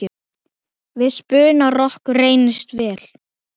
Við spuna rokkur reynist vel.